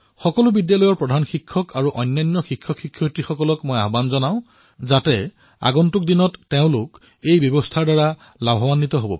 মই সকলো বিদ্যালয়ৰ অধ্যক্ষ আৰু শিক্ষকসকলক ইয়াৰ সুযোগ গ্ৰহণ কৰিবলৈ আহ্বান জনাইছো